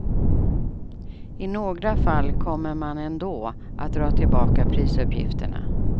I några fall kommer man ändå att dra tillbaka prisuppgifterna.